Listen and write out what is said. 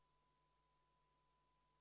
Meil on päevakorras ministrile umbusalduse avaldamine.